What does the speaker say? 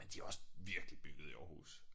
Men de har også virkelig bygget i Aarhus